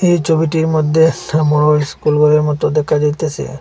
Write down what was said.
এই ছবিটির মদ্যে একটা বড় ইস্কুল ঘরের মতো দেখা যাইতাসে।